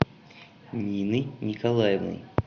ниной николаевной